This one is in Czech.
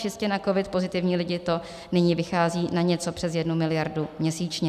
Čistě na covid pozitivní lidi to nyní vychází na něco přes jednu miliardu měsíčně.